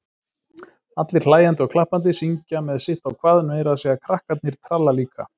Allir hlæjandi og klappandi, syngja með sitt á hvað, meira að segja krakkarnir tralla líka.